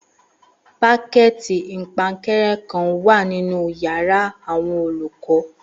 Pákẹ̀tì ìpaǹkanrẹ́ kan wà nínu yàrá àwọn olùkọ́